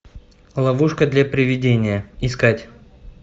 ловушка для привидения искать